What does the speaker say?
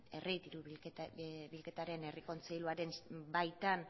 herri dirubideen euskal kontseiluaren baitan